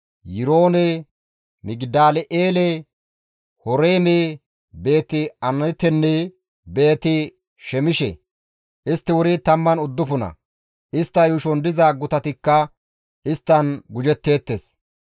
Yiroone, Migidal7eele, Horeeme, Beeti-Anaatenne Beeti-Shemishe. Istti wuri 19; istta yuushon diza gutatikka isttan gujetteettes.